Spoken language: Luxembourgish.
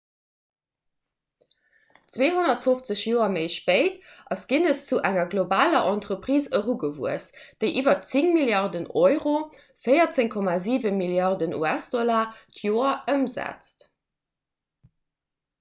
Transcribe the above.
250 joer méi spéit ass guinness zu enger globaler entreprise erugewuess déi iwwer 10 milliarden euro 14,7 milliarden us-dollar d'joer ëmsetzt